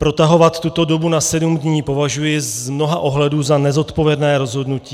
Protahovat tuto dobu na sedm dní považuji z mnoha ohledů za nezodpovědné rozhodnutí.